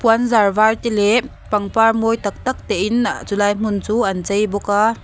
puan zar var te leh pangpar mawi tak tak te in chu lai hmun chu an chei bawk a.